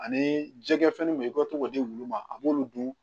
Ani jɛgɛ fɛn min i ka to k'o di wulu ma a b'olu dun